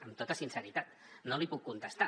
amb tota sinceritat no li puc contestar